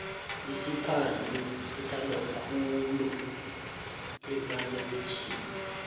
isiphadhlu sithandwa khulu emalokitjhini